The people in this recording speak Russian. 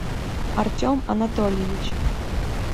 артем анатольевич